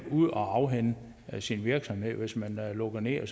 ud og afhænde sin virksomhed hvis man lukker ned og